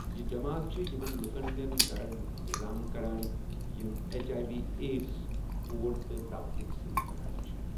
یہِ جماعت چھِ یِمن لُکن ہٕنٛدٮ۪ن گھرن ہُنٛد اِنتظام کران یِم ایچ آئی وی ایڈز، کوڑھ تہٕ تپ دق ستۍ مران چھِ